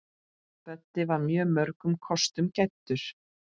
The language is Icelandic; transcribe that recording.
Böddi var mörgum kostum gæddur.